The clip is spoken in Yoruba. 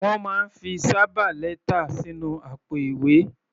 Wọ́n máa ń fi sábà lẹ́tà sínú àpò-ìwé.